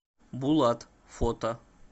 булат фото